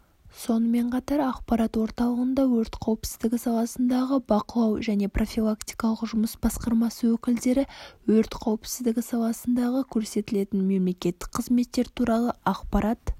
сонымен қатар ақпарат орталығында өрт қауіпсіздігі саласындағы бақылау және профилактикалық жұмыс басқармасы өкілдері өрт қауіпсіздігі саласындағы көрсетілетін мемлекеттік қызметтер туралы ақпарат